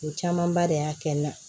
O camanba de y'a kɛ n na